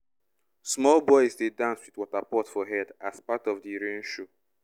small boys dey dance with water pot for head as part of the rain show.